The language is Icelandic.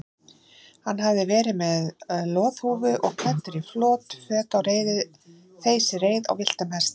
Hann hafði verið með loðhúfu og klæddur í flott föt á þeysireið á villtum hesti.